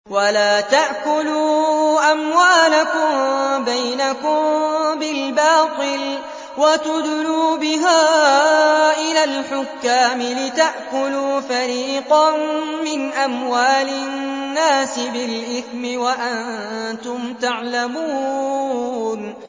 وَلَا تَأْكُلُوا أَمْوَالَكُم بَيْنَكُم بِالْبَاطِلِ وَتُدْلُوا بِهَا إِلَى الْحُكَّامِ لِتَأْكُلُوا فَرِيقًا مِّنْ أَمْوَالِ النَّاسِ بِالْإِثْمِ وَأَنتُمْ تَعْلَمُونَ